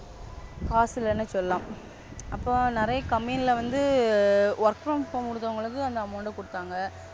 காசு இல்லனு சொல்லலாம். அப்போ நிறைய Company வந்து Work from home ரவங்களுக்கு அந்த Amount குடுத்தாங்க.